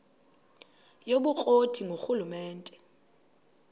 yobukro ti ngurhulumente